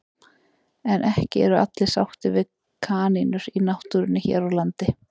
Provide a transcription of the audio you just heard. En ekki eru allir sáttir við kanínur í náttúrunni hér á landi.